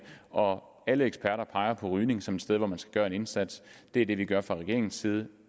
og alle eksperter peger på rygning som et sted hvor man skal gøre en indsats det er det vi gør fra regeringens side